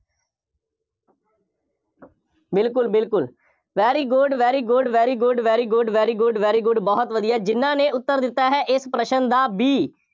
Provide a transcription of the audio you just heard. ਬਿਲਕੁੱਲ, ਬਿਲਕੁੱਲ, very good, very good, very good, very good, very good, very good ਬਹੁਤ ਵਧੀਆ, ਜਿੰਨ੍ਹਾ ਨੇ ਉੱਤਰ ਦਿੱਤਾ ਹੈ ਇਸ ਪ੍ਰਸ਼ਨ ਦਾ B